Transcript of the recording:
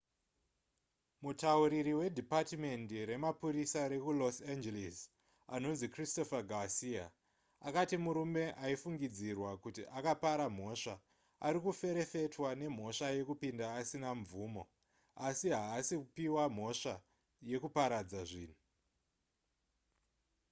mutauriri wedhipatimendi remapurisa rekulos angeles anonzi christopher garcia akati murume aifungidzirwa kuti akapara mhosva ari kuferefetwa nemhosva yekupinda asina mvumo asi haasi kupiwa mhosva yekuparadza zvinhu